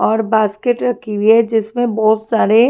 और बास्केट रखी हुई है जिसमें बहुत सारे--